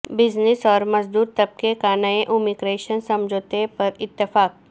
business اور مزدور طبقے کانئے امی گریشن سمجھوتے پر اتفاق